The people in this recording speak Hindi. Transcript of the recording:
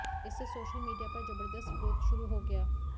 इससे सोशल मीडिया पर जबरदस्त विरोध शुरू हो गया